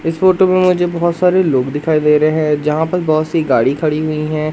इस फोटो में मुझे बहोत सारे लोग दिखाई दे रहे हैं जहां पर बहोत सी गाड़ी खड़ी हुई है।